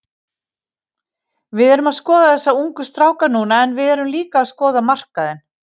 Við erum að skoða þessa ungu stráka núna en við erum líka að skoða markaðinn.